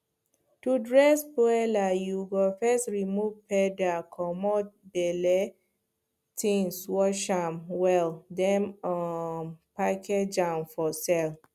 to dress broiler you go first remove feather comot belle things wash am well then um package am for sale